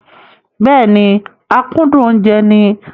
Bẹ́ẹ̀ni, akúndùn oúnjẹ ni.